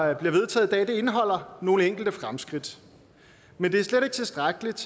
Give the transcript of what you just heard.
der bliver vedtaget indeholder nogle enkelte fremskridt men det er slet ikke tilstrækkeligt